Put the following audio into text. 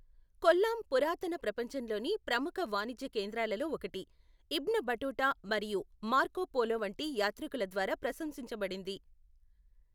కొల్లాం పురాతన ప్రపంచంలోని ప్రముఖ వాణిజ్య కేంద్రాలలో ఒకటి, ఇబ్న్ బటుటా మరియు మార్కో పోలో వంటి యాత్రికుల ద్వారా ప్రశంసించబడింది.